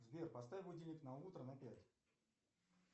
сбер поставь будильник на утро на пять